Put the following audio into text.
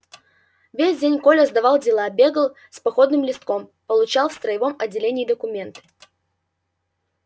весь день коля сдавал дела бегал с походным листком получал в строевом отделении документы